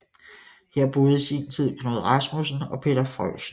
Her boede i sin tid Knud Rasmussen og Peter Freuchen